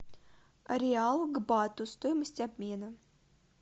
реал к бату стоимость обмена